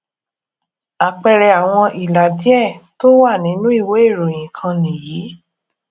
àpẹẹrẹ àwọn ìlà díẹ tó wà nínú ìwé ìròyìn kan nìyí